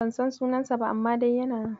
Ban san sunansa ba, amma dai yana nan.